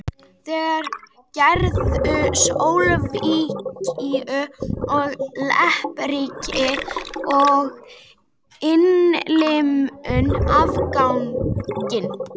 Þeir gerðu Slóvakíu að leppríki og innlimuðu afganginn.